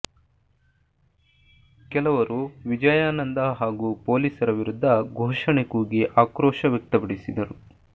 ಕೆಲವರು ವಿಜಯಾನಂದ ಹಾಗೂ ಪೊಲೀಸರ ವಿರುದ್ಧ ಘೋಷಣೆ ಕೂಗಿ ಆಕ್ರೋಶ ವ್ಯಕ್ತಪಡಿಸಿದರು